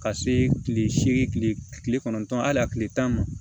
Ka se kile seegin kile kɔnɔntɔn ali a kile tan ma